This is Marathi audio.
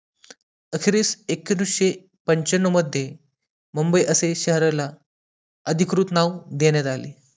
अखेरीस एकोणीसशे पंच्याण्णव मध्ये मुंबई असे शहराला अधिकृत नाव देण्यात आले